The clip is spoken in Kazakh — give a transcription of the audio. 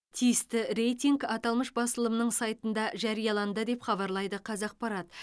тиісті рейтинг аталмыш басылымның сайтында жарияланды деп хабарлайды қазақпарат